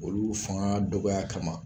Olu fanga dɔgɔya kama